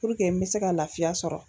Puruke n me se ka lafiya sɔrɔ